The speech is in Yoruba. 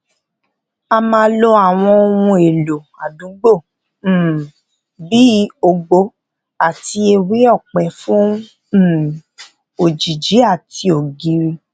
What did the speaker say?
a máa lo àwọn ohun èlò àdúgbò um bí ògbò àti ewé òpẹ fún um òjìji àti ògiri